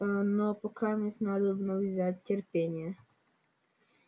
но покамест надобно взять терпение